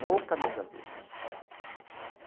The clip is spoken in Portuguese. No Camisa Verde.